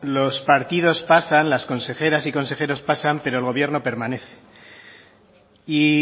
los partidos pasan las consejeras y consejeros pasan pero el gobierno permanece y